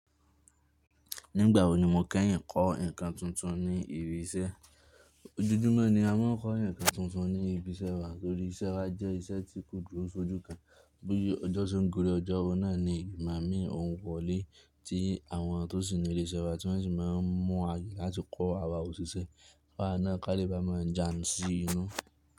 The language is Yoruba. Nígbà wo ni mo kẹ́yìn ń kọ́ nǹkan tuntun ní ibi iṣẹ́? Ojújúmọ́ ni a máa ń kọ́ nǹkan tuntun ní ibi iṣẹ́ wa torí iṣẹ́ wa jẹ́ iṣẹ́ tí kò jù òun sójú kan. Bí ọjọ́ tó ń gori ọjọ́ náà ni ìgbà mí òun kọ́lé tí àwọn tó sì ní ilé iṣẹ́ wa tí wọ́n sì máa ń mú wa láti kọ́ àwa òṣìṣẹ́. Fáà náà ká lè bámọ̀ jà mí sí inú.